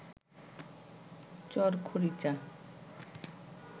চর খরিচা